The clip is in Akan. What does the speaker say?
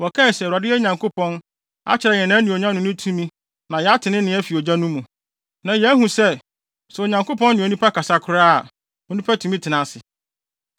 Wɔkae se, “ Awurade, yɛn Nyankopɔn, akyerɛ yɛn nʼanuonyam ne ne tumi na yɛate ne nne afi ogya no mu. Nnɛ, yɛahu sɛ, sɛ Onyankopɔn ne onipa kasa koraa a, onipa tumi tena ase.